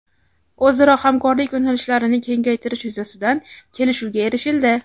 o‘zaro hamkorlik yo‘nalishlarini kengaytirish yuzasidan kelishuvga erishildi.